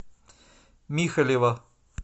михалева